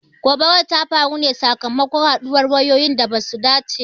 Gobarar ta faru ne sakamakon haduwan wayoyi da basu dace ba.